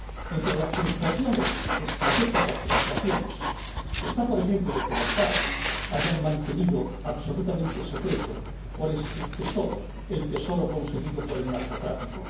Entre las frustraciones, estratégicas frustraciones, está, por ejemplo, que las FARC hayan mantenido absolutamente secreto cuál es su tesoro, el tesoro conseguido por el narcotráfico.